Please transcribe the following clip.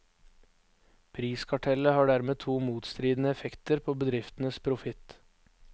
Priskartellet har dermed to motstridende effekter på bedriftenes profitt.